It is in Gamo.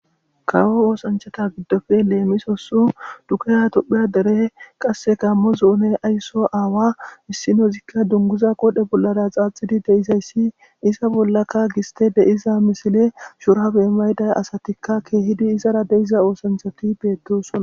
Kawo osanichchata gidoppe lemissosi dugeha tophphiya dere qase Gamo dere asso aawa issi bola dunguzza qodhdhe bola xaxidi deizayisi hesa bolakka gistteyi deiza misile shurabe mayidayisa beyida asati kehidi izaraka deiza ossanichchatikka betosoona